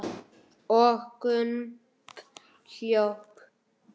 Og Gump hljóp!